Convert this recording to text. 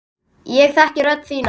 Ég þekki rödd þína.